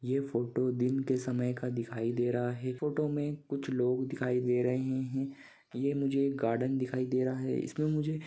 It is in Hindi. ये फोटो दिन के समय का दिखाई दे रहा है फोटो मे कुछ लोग दिखाई दे रहे है ये मुझे गार्डन दिखाई दे रहा हैं। इसमे मुझे--